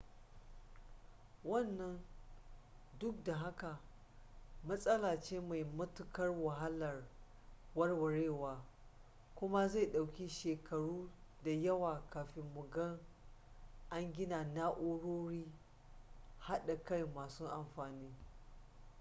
wannan duk da haka matsala ce mai matuƙar wahalar warwarewa kuma zai ɗauki shekaru da yawa kafin mu ga an gina na'urori haɗaka masu amfani